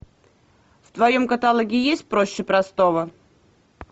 в твоем каталоге есть проще простого